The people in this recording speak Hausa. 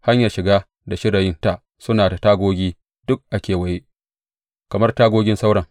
Hanyar shiga da shirayinta suna da tagogi duk a kewaye, kamar tagogin sauran.